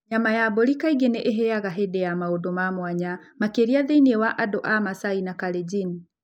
Nyama ya mbũri kaingĩ nĩ ĩhĩaga hĩndĩ ya maũndũ ma mwanya, makĩria thĩinĩ wa andũ a Masai na Kalenjin.